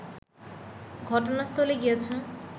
ঘটনাস্থলে গিয়েছে